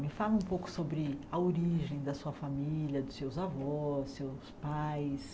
Me fala um pouco sobre a origem da sua família, dos seus avós, seus pais.